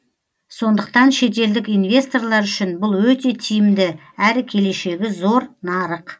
сондықтан шетелдік инвесторлар үшін бұл өте тиімді әрі келешегі зор нарық